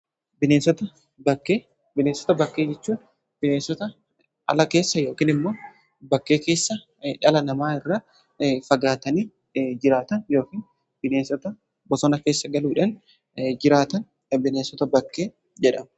Bineensota bakkee, bineensota bakkee jechuun bineensota ala keessa yookin immoo bakkee keessa dhala namaa irra fagaatanii jiraatan yookiin bineensota bosona keessa galuudhan jiraatan bineensota bakkee jedhama.